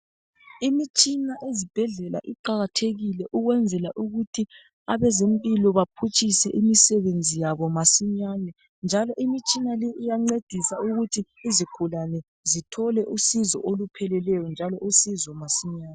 Imitshina ezibhedlela iqakathekile ukwenzela ukuthi abazempilo baphutshise imisebenzi yabo masinyane, njalo imitshina le iyancedisa ukuthi izigulane zithole usizo olupheleleyo njalo usizo masinyane.